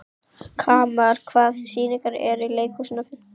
Kamal, hvaða sýningar eru í leikhúsinu á fimmtudaginn?